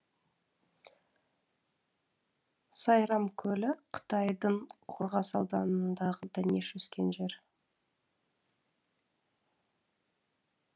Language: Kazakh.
сайрам көлі қытайдың қорғас ауданындағы дәнеш өскен жер